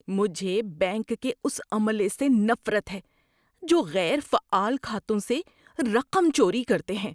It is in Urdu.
مجھے بینک کے اس عملے سے نفرت ہے جو غیر فعال کھاتوں سے رقم چوری کرتے ہیں۔